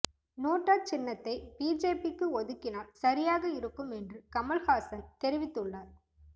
NOTA சின்னத்தை பிஜேபிக்கு ஒதுக்கினால் சரியாக இருக்கும் என்று கமல்ஹாசன் தெரிவித்துள்ளார்